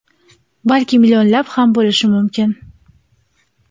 balki millionlab ham bo‘lishi mumkin.